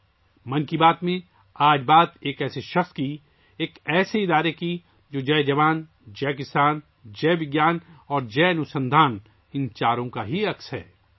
'من کی بات' میں، آج ہم نے ایک ایسے شخص، ایسی تنظیم کے بارے میں بات کی، جو ان چاروں، جئے جوان، جئے کسان، جئے وگیان اور جئے انوسندھان کے تئیں عہد بستہ ہیں